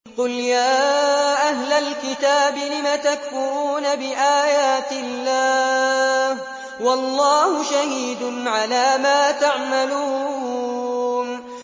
قُلْ يَا أَهْلَ الْكِتَابِ لِمَ تَكْفُرُونَ بِآيَاتِ اللَّهِ وَاللَّهُ شَهِيدٌ عَلَىٰ مَا تَعْمَلُونَ